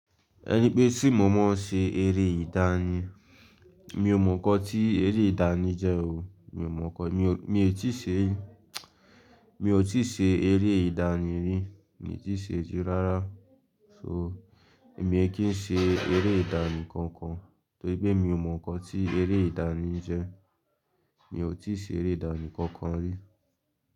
Ẹni pé ṣé mo mọ ṣe eré ìdánì, mi ò mọ̀ ọ́n kí eré ìdánì jẹ́ o, mi ò mọ̀ ọ́n. Mi ti ṣe rí, mi ò ti ṣe eré ìdánì rí, mi ti ṣe rí rárá. So, èmi e kí n ṣe eré ìdánì kankan torí pé mi ò mọ̀ ọ́n kí eré ìdánì jẹ́. Mi ò tíì ṣe eré ìdánì kankan rí.